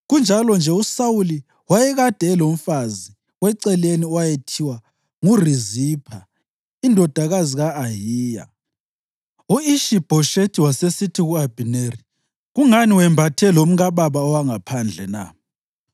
Kunjalo-nje uSawuli wayekade elomfazi weceleni owayethiwa nguRizipha indodakazi ka-Ayiya. U-Ishi-Bhoshethi wasesithi ku-Abhineri, “Kungani wembathe lomkababa owangaphandle na?”